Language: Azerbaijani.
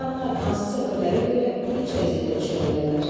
İnsanlar hansı səbəblərə görə gülünc vəziyyətə düşə bilərlər?